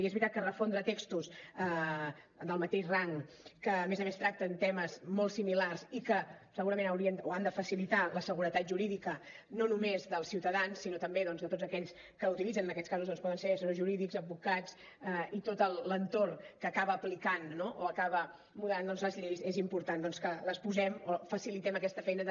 i és veritat que refondre textos del mateix rang que a més a més tracten temes molt similars i que segurament haurien o han de facilitar la seguretat jurídica no només dels ciutadans sinó també doncs de tots aquells que la utilitzen en aquests casos poden ser serveis jurídics advocats i tot l’entorn que acaba aplicant o acaba mudant les lleis és important doncs que les posem o facilitem aquesta feina de